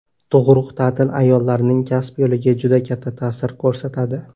Tug‘ruq ta’tili ayollarning kasb yo‘liga juda katta ta’sir ko‘rsatadi.